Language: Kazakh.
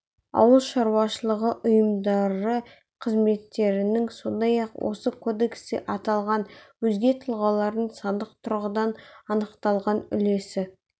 ауыл шаруашылығы ұйымдары қызметкерлерінің сондай-ақ осы кодексте аталған өзге тұлғалардың сандық тұрғыдан анықталған үлесі